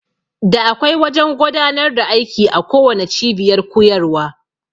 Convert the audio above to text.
Da akwai wajan godanar da aiki a kowanne cibiyar kuyarwa